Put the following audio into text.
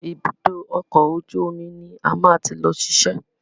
Ibùdó ọkọ̀ ojú omi ni a máa ti lọ ṣiṣẹ́.